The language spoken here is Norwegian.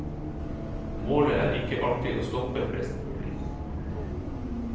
Målet er ikke alltid å stoppe flest mulig.